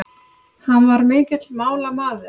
Hann var mikill málamaður.